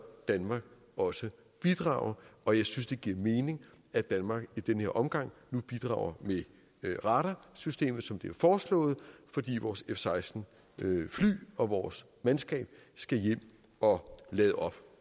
danmark også bidrage og jeg synes det giver mening at danmark i den her omgang bidrager med radarsystemet som det er foreslået fordi vores f seksten fly og vores mandskab skal hjem og lade op